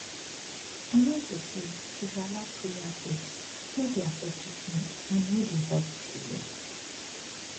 i mean say to dey allow prayer breaks no dey affect treament and e no dy help with healing